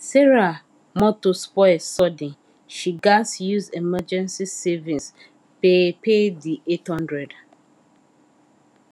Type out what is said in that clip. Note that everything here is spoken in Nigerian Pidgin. sarah motor spoil sudden she gatz use emergency savings pay pay the eight hundred